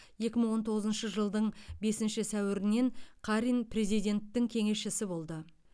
екі мың он тоғызыншы жылдың бесінші сәуірінен қарин президенттің кеңесшісі болды